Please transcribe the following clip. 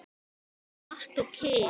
Og Matt og Kim?